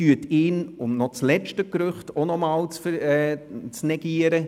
Um noch das letzte Gerücht zu negieren: